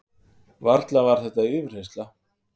Varla var þetta yfirheyrsla?